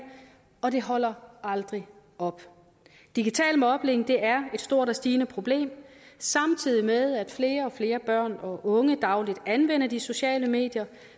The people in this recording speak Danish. og det holder aldrig op digital mobning er et stort og stigende problem samtidig med at flere og flere børn og unge dagligt anvender de sociale medier